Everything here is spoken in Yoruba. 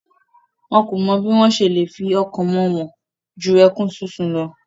Wọn kò mọ bí wọ́n se le fi ọkàn wọn hàn ju ẹkún sísun lọ.